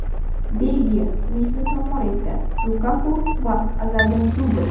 Belgiya Tunisni tor-mor etdi, Lukaku va Azardan dubl .